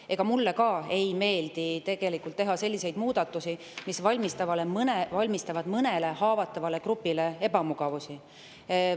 Ega mulle ka ei meeldi teha selliseid muudatusi, mis valmistavad mõnele haavatavale grupile ebamugavust.